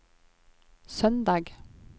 søndag